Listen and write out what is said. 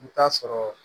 I bɛ taa sɔrɔ